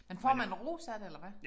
Men får man ro så af det eller hvad?